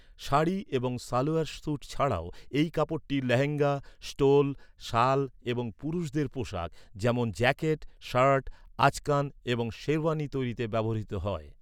শাড়ি এবং সালোয়ার স্যুট ছাড়াও এই কাপড়টি লেহেঙ্গা, স্টোল, শাল এবং পুরুষদের পোশাক, যেমন জ্যাকেট, শার্ট, আচকান এবং শেরওয়ানি তৈরিতে ব্যবহৃত হয়।